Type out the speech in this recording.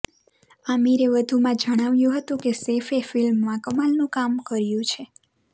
આમિરે વધુમાં જણાવ્યું હતું કે સૈફે ફિલ્મમાં કમાલનું કામ કર્યું છે